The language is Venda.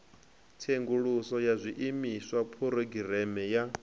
tsenguluso ya zwiimiswa phurogireme ya